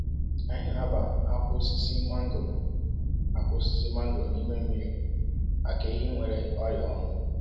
Anyị na-aba akwa osisi mangoro akwa osisi mangoro n’ime mmiri maka ehi nwere ọrịa ọnụ.